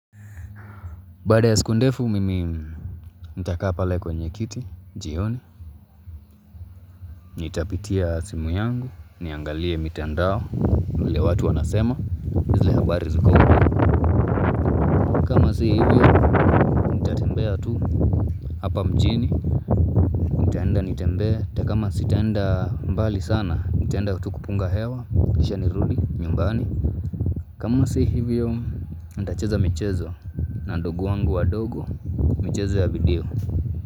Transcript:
Baada ya siku ndefu mimi Nitakaa pale kwenye kiti jioni Nitapitia simu yangu Niangalie mitandao vile watu wanasema zile habari ziko huko kama si hivyo nitatembea tu Hapa mjini nitaenda nitembe atakama sitaenda mbali sana nitaenda kupunga hewa kisha nirudi nyumbani kama si hivyo Nita cheza michezo na ndugu wangu wadogo michezo ya video.